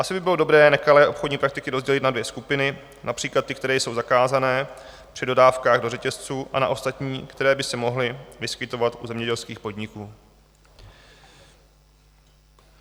Asi by bylo dobré nekalé obchodní praktiky rozdělit na dvě skupiny, například ty, které jsou zakázané při dodávkách do řetězců, a na ostatní, které by se mohly vyskytovat u zemědělských podniků.